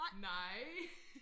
Nej